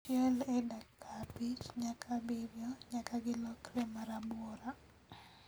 Chiel e dakika abich nyaka abirio nyaka gilokre marabuora